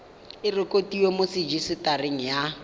e rekotiwe mo rejisetareng ya